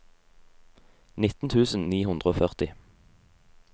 nitten tusen ni hundre og førti